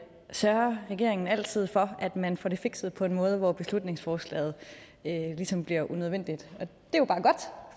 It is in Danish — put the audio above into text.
sørger regeringen altid for at man får det fikset på en måde hvor beslutningsforslaget ligesom bliver unødvendigt